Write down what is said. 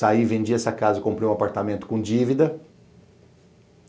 Saí, vendi essa casa, comprei um apartamento com dívida.